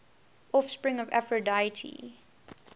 offspring of aphrodite